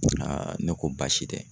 ne ko baasi tɛ.